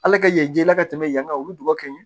Ala ka ye jɛ la ka tɛmɛ yan kan olu ka ɲi